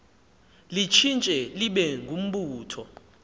litshintshe libe ngumbutho